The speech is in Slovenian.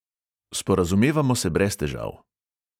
Sporazumevamo se brez težav.